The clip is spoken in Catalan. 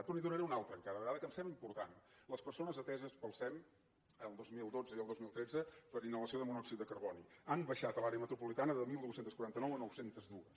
però n’hi donaré una altra encara de dada que em sembla important les persones ateses pel sem el dos mil dotze i el dos mil tretze per inhalació de monòxid de carboni han baixat a l’àrea metropolitana de dotze quaranta nou a nou cents i dos